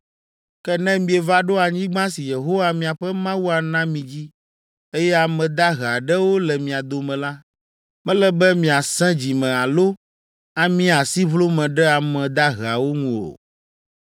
“Ke ne mieva ɖo anyigba si Yehowa miaƒe Mawu ana mi dzi, eye ame dahe aɖewo le mia dome la, mele be miasẽ dzi me alo amia asiʋlome ɖe ame daheawo ŋu o.